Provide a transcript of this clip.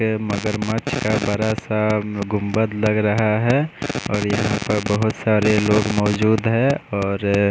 ये मगरमच्छ का बड़ा सा गुंबद लग रहा है और यहाँ पर बहोत सारे लोग मौजूद हैं और--